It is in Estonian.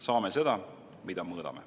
Saame seda, mida mõõdame.